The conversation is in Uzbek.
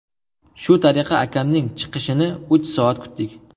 Shu tariqa akamning chiqishini uch soat kutdik.